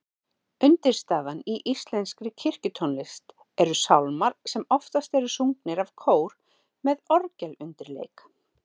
Uppistaðan í íslenskri kirkjutónlist eru sálmar sem oftast eru sungnir af kór með orgelundirleik.